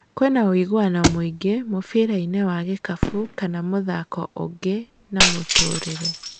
Kwĩna ũiguano mũinge mũbirainĩ wa gĩkabũ kana mũthako ũngĩ na mũtũrire